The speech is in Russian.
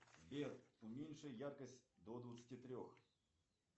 сбер уменьши яркость до двадцати трех